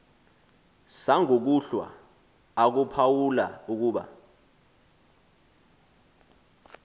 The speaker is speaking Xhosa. sangokuhlwa akuphawula ukuba